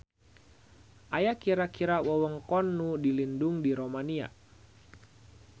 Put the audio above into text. Aya kira-kira wewengkon nu dilindung di Romania.